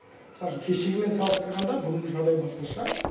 мысал үшін кешегімен салыстырғанда бүгінгі жағдай басқаша